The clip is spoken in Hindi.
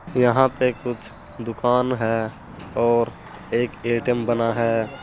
यहां पे कुछ दुकान है और एक ए_टी_एम बना है।